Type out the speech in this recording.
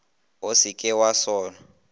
o se ke wa sola